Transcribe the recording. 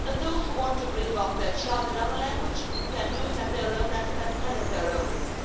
Those who want to bring up their child in another language can do it at their own expense and at their own risk.